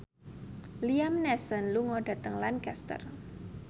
Liam Neeson lunga dhateng Lancaster